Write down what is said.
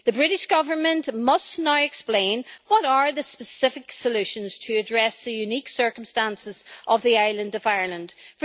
The British Government must now explain what the specific solutions to address the unique circumstances of the island of Ireland' are.